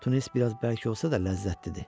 Tunnes biraz bərk olsa da ləzzətlidir.